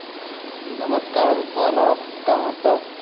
नमस्कार बोला काय म्हणता?